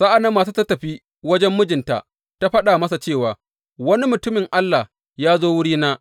Sa’an nan matar ta tafi wajen mijinta ta faɗa masa cewa, Wani mutumin Allah ya zo wurina.